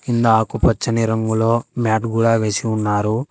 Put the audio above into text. కింద ఆకు పచ్చని రంగులో మ్యాట్ కూడా వేసి ఉన్నారు.